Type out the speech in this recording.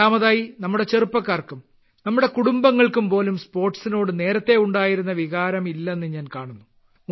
രണ്ടാമതായി നമ്മുടെ ചെറുപ്പക്കാർക്കും നമ്മുടെ കുടുംബങ്ങൾക്കുപോലും സ്പോർട്സിനോട് നേരത്തെ ഉണ്ടായിരുന്ന വികാരം ഇല്ലെന്ന് ഞാൻ കാണുന്നു